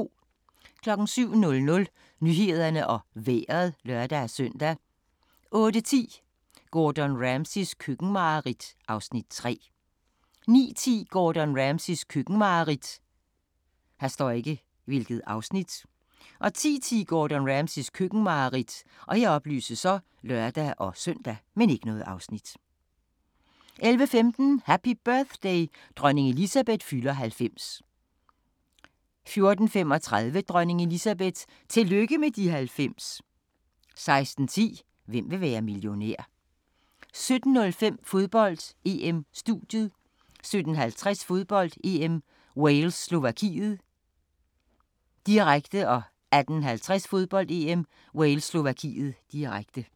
07:00: Nyhederne og Vejret (lør-søn) 08:10: Gordon Ramsays køkkenmareridt (Afs. 3) 09:10: Gordon Ramsays køkkenmareridt 10:10: Gordon Ramsays køkkenmareridt (lør-søn) 11:15: Happy birthday: Dronning Elizabeth fylder 90 14:35: Dronning Elizabeth – tillykke med de 90! 16:10: Hvem vil være millionær? * 17:05: Fodbold: EM-studiet 17:50: Fodbold: EM - Wales-Slovakiet, direkte 18:50: Fodbold: EM - Wales-Slovakiet, direkte